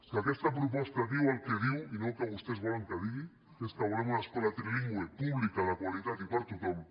que aquesta proposta diu el que diu i no el que vostès volen que digui que és que volem una escola trilingüe pública de qualitat i per a tothom